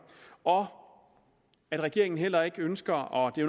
og at regeringen heller ikke ønsker og det